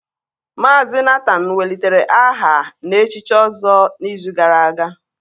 Mazị Nathan welitere aha na-echichi ọzọ n'izu gara aga